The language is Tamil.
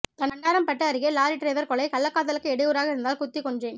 தண்டராம்பட்டு அருகே லாரி டிரைவர் கொலை கள்ளக்காதலுக்கு இடையூறாக இருந்ததால் குத்திக்கொன்றேன்